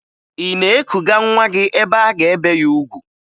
Ị na-ekuga nwa gị ebe a ga-ebe ya ugwu?